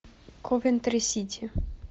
ковентри сити